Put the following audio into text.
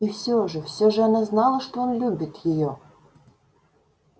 и всё же всё же она знала что он любит её